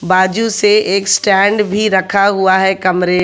बाजू से एक स्टैंड भी रखा हुआ है कमरे--